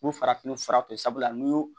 U farafinw furatɔ sabula n'i y'o